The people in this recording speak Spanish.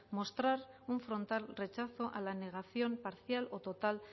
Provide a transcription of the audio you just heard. mostrar un frontal rechazo a la negación parcial o total